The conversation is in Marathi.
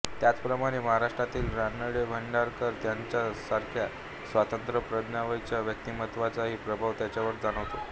त्याचप्रमाणे महाराष्ट्रातील रानडेभांडारकर यांच्यासारख्या स्वतंत्र प्रज्ञावंतांच्या व्यक्तिमत्त्वाचाही प्रभाव त्याच्यावर जाणवतो